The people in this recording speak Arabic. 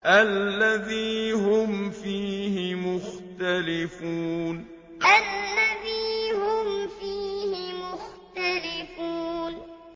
الَّذِي هُمْ فِيهِ مُخْتَلِفُونَ الَّذِي هُمْ فِيهِ مُخْتَلِفُونَ